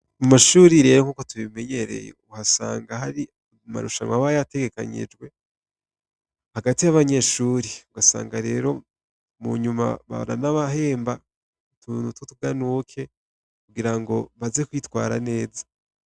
Mumashure rero nkuko tubimenyereye uhasanga hari amarushanwa aba yategekanijwe hagati yabanyeshure ugasanga rero munyuma baranabahemba kugira baze kwitwara neza .